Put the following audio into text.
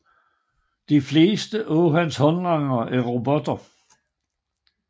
De fleste af hans håndlangere er robotter